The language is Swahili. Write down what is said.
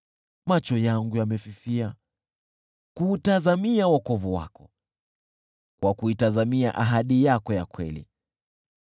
Macho yangu yamefifia, yakitazamia wokovu wako, na kuitazamia ahadi yako ya kweli.